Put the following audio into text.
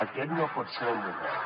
aquest no pot ser el model